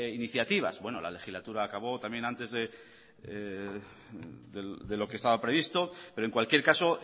iniciativas bueno la legislatura acabó también antes de lo que estaba previsto pero en cualquier caso